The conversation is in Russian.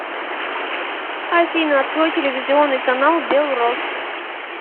афина открой телевизионный канал белрос